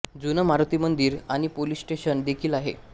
जुनं मारुती मंदिर आणि पोलिस स्टेशन देखील आहे